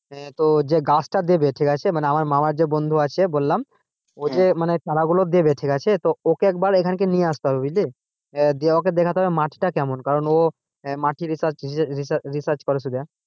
হ্যাঁ তো যে গাছটা দেবে ঠিক আছে আমার মামা বন্ধু আছে বললাম যে মানে চারাগুলো দেবে ঠিক আছে তো ওকে একবার কিন্তু নিয়ে আসতে হবে বুঝলি। দিয়ে ওকে দেখাতে হবে যে মাটি কেমন কারণ ও মাটি research research করে।